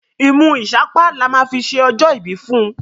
imú isapa là má fí ṣe ojo ibi fún.